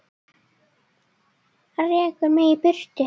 Rekur mig í burtu?